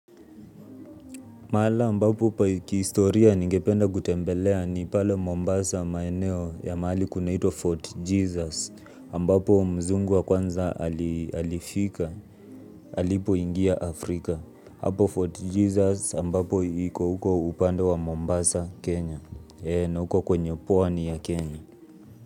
Mahala ambapo kihistoria ningependa kutembelea ni pale Mombasa maeneo ya mahali kunaito Fort Jesus ambapo mzungu wa kwanza alifika, alipo ingia Afrika. Hapo Fort Jesus ambapo iko huko upando wa Mombasa, Kenya na huko kwenye pwani ya Kenya.